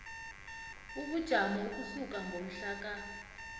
ubujamo ukusuka ngomhlaka